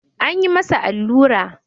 An yi masa allura.